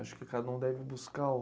Acho que cada um deve buscar o